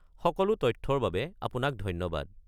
সকলো তথ্যৰ বাবে আপোনাক ধন্যবাদ।